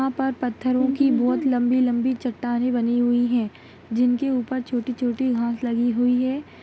यहाँ पर पत्थरो की बहोत लंबी-लंबी चट्टानें बनी हुई है जिनके ऊपर छोटी-छोटी घास लगी हुई हैं।